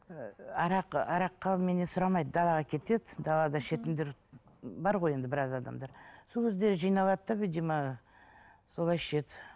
ыыы арақ араққа меннен сұрамайды далаға кетеді далада ішетіндер бар ғой енді біраз адамдар сол кезде жиналады да видимо солай ішеді